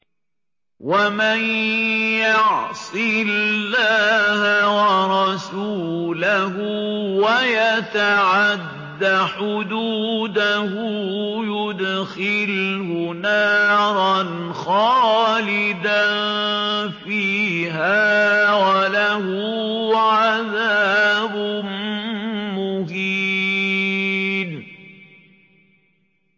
وَمَن يَعْصِ اللَّهَ وَرَسُولَهُ وَيَتَعَدَّ حُدُودَهُ يُدْخِلْهُ نَارًا خَالِدًا فِيهَا وَلَهُ عَذَابٌ مُّهِينٌ